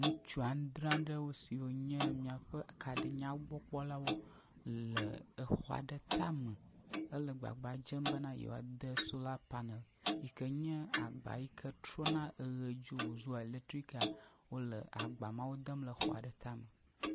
Ŋutsu andre aɖewo siwo nye míaƒe kaɖinyawogbɔkpɔlawo le exɔa ɖe tame hele gbagba dzem be yewoade solar panel yi ke nye agba yi ke trɔna eʋedzo wòzua eletrik aa, wole agba mawo dem le exɔa ɖe tame.